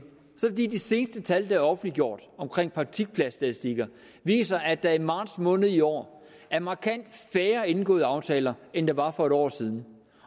er de seneste tal der er offentliggjort om praktikpladsstatistikker viser at der i marts måned i år er markant færre indgåede aftaler end der var for en år siden